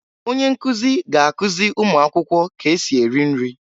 Onye nkụzị ga-akụzị ụmụakwụkwọ k'esị eri nri.